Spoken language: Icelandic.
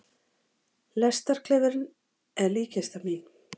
Lestarklefinn er líkkistan mín.